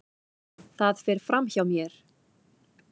Það fer fram hjá mér.